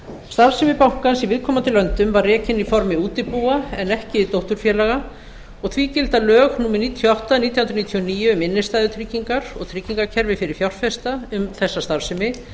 starfsemi bankans í viðkomandi löndum var rekin í formi útibúa en ekki dótturfélaga og því gilda lög númer níutíu og átta nítján hundruð níutíu og níu um innstæðutryggingar og tryggingakerfi fyrir fjárfesta um þessa starfsemi